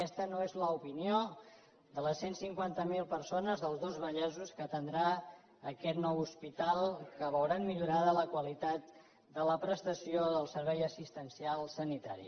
aquesta no és l’opinió de les cent i cinquanta miler persones dels dos vallesos que atendrà aquest nou hospital que veuran millorada la qualitat de la prestació del servei assistencial sanitari